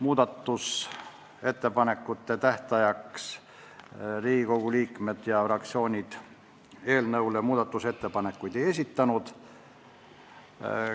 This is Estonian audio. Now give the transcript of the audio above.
Muudatusettepanekute esitamise tähtajaks Riigikogu liikmed ja fraktsioonid eelnõu kohta muudatusettepanekuid ei esitanud.